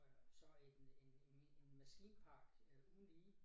Og så en en en en maskinpark uden lige